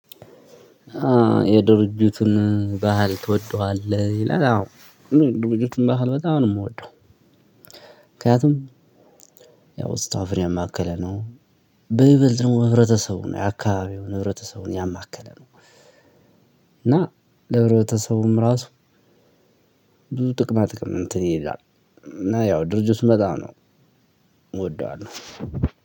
የድርጅቱን ባህል ትወደዋለህ? ይላል አዎ እኔ የድርጅቱን ባህል በጣም ነው ምወደው። ምክንያቱም ስታፍን ያማከለ ነው። በይበልጥ ደግሞ ሕብረተሰቡን የአከባቢውን ህብረተሰብ ያማከለ ነው። እና ለህብረተሰቡም ራሱ ብዙ ጥቅማ ጥቅም እንትን ይላል። እና ያው ድርጅቱ በጣም ነው እወደዋለሁ።